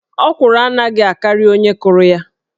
Ọkwụrụ anaghị akarị onye kụrụ ya